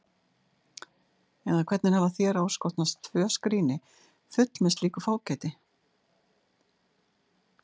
Eða hvernig hafa þér áskotnast tvö skríni full með slíku fágæti?